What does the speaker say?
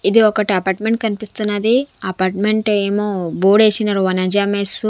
ఇది ఒకటి అపార్ట్మెంట్ కనిపిస్తున్నది అపార్ట్మెంట్ ఏమో బోర్డ్ ఏశినరు వనజా మెస్ .